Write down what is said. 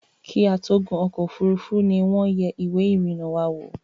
Kí a tó gún ọ̀kọ̀ ofúrufú ni wọ́n yẹ ìwé ìrìnà wa wò